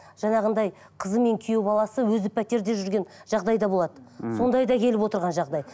жаңағындай қызы мен күйеу баласы өзі пәтерде жүрген жағдайда болады мхм сондай да келіп отырған жағдай